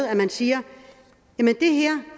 at man siger